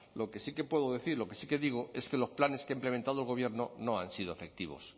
lo que sí que puedo decir lo que sí que digo es que los planes que ha implementado el gobierno no han sido efectivos